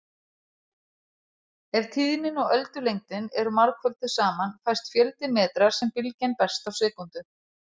Ef tíðnin og öldulengdin eru margfölduð saman fæst fjöldi metra sem bylgjan berst á sekúndu.